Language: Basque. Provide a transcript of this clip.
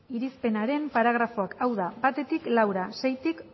irizpenaren paragrafoak hau da battik laura seitik